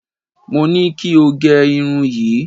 Mo ní kí o gẹ irun yìí.